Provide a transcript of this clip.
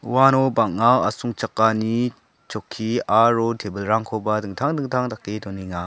uano bang·a asongchakani chokki aro tebilrangkoba dingtang dingtang dake donenga.